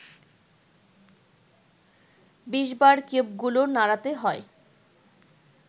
২০বার কিউবগুলো নাড়াতে হয়